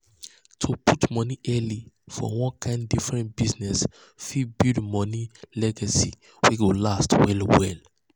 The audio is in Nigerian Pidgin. to put money early for one kind different business fit build money legacy wey go last well well.